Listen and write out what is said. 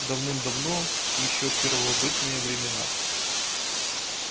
давным-давно ещё в первобытные времена